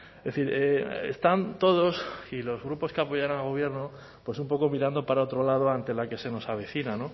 es decir están todos y los grupos que apoyan al gobierno pues un poco mirando para otro lado ante la que se nos avecina